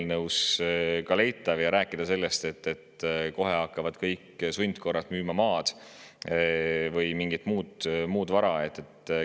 Ja rääkida sellest, et kohe hakkavad kõik sundkorras maad või mingit muud vara müüma.